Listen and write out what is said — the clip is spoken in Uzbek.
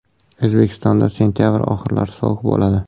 O‘zbekistonda sentabr oxirlari sovuq bo‘ladi.